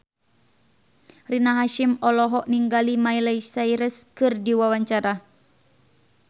Rina Hasyim olohok ningali Miley Cyrus keur diwawancara